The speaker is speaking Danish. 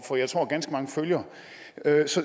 for jeg tror at ganske mange følger